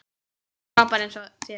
Frábær eins og þér.